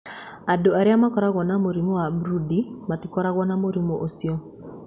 Andũ arĩa makoragwo na mũrimũ wa Brody matikoragwo na mũrimũ ũcio.